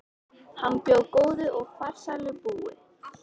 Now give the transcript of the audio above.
Hann bjó góðu og farsælu búi.